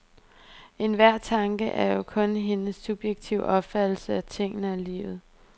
Enhver tanke er jo kun hendes subjektive opfattelse af tingene og livet.